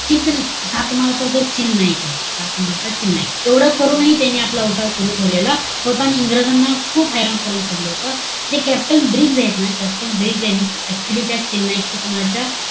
सातमाळाचा जो चिल नाईक आहे. सातमळाचा चिल नाईक नाहीये. एवढं करूनही त्यांनी आपला उठाव सुरु ठेवलेला होता. आणि इंग्रजांना खूप हैराण करून सोडलं होतं. जे captain ब्रिग्स आहेत ना, captain ब्रिग्स यांनी actually चिल नाईक सातमाळाच्या,